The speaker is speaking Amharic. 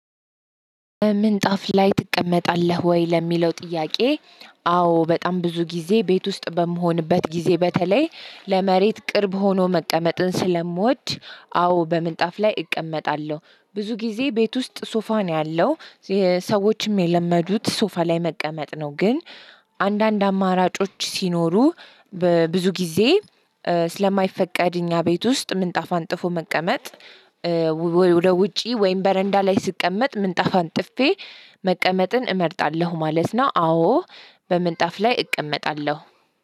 ምንጣፍ ላይ ትቀመጣለህ ወይ ለሚለው ጥያቄ? አዎ በጣም ብዙ ጊዜ ቤት ውስጥ በምሆንበት ጊዜ በተለይ ለመሬት ቅርብ ሆኖ መቀመጥን ስለምወድ። አዎ በምንጣፍ ላይ እቀመጣለሁ ብዙ ጊዜ ቤት ውስጥ ሶፋ ነው ያለው። ሰዎችም የለመዱት ሶፋ ላይ መቀመጥ ነው ግን። አንዳንድ አማራጮች ሲኖሩ በብዙ ጊዜ ስለማይፈቀድ እኛ ቤት ውስጥ ምንጣፍ አንጥፎ መቀመጥ። ወደ ውጪ ወይም በረንዳ ላይ ስቀመጥ ምንጣፍ ጥፌ መቀመጥን እመርጣለሁ ማለት ነው። አዎ። በምንጣፍ ላይ እቀመጣለሁ